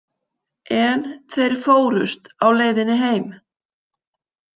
En þeir fórust á leiðinni heim.